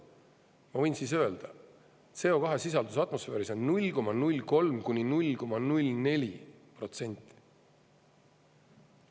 Ma võin siis öelda: CO2 sisaldus atmosfääris on 0,03–0,04%.